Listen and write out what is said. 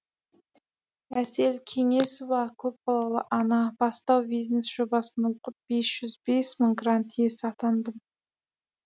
әсел кеңесова көпбалалы ана бастау бизнес жобасын оқып бес жүз бес мың грант иесі атандым